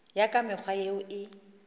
ya ka mekgwa yeo e